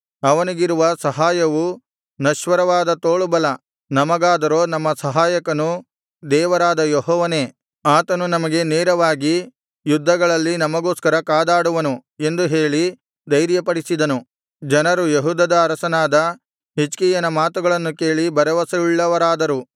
ಅವನಿಗಿರುವ ಸಹಾಯವು ನಶ್ವರವಾದ ತೋಳುಬಲ ನಮಗಾದರೋ ನಮ್ಮ ಸಹಾಯಕನು ದೇವರಾದ ಯೆಹೋವನೇ ಆತನು ನಮಗೆ ನೆರವಾಗಿ ಯುದ್ಧಗಳಲ್ಲಿ ನಮಗೋಸ್ಕರ ಕಾದಾಡುವನು ಎಂದು ಹೇಳಿ ಧೈರ್ಯಪಡಿಸಿದನು ಜನರು ಯೆಹೂದದ ಅರಸನಾದ ಹಿಜ್ಕೀಯನ ಮಾತುಗಳನ್ನು ಕೇಳಿ ಭರವಸೆಯುಳ್ಳವರಾದರು